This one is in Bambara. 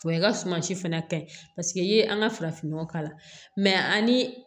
O ye ka suma si fɛnɛ ta ye paseke i ye an ka farafin nɔgɔ k'a la ani